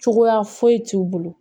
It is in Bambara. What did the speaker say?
Cogoya foyi t'u bolo